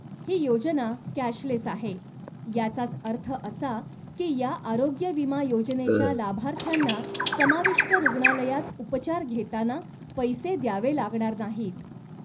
ही योजना कॅशलेस आहे, याचाच अर्थ असा की या आरोग्य विमा योजनेच्या लाभार्थ्यांना समाविष्ट रुग्णालयात उपचार घेताना पैसे द्यावे लागणार नाहीत.